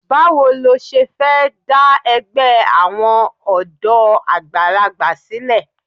Báwo lo ṣe fẹ́ dá ẹgbẹ́ àwọn ọ̀dọ́ àgbàlagbà sílẹ̀?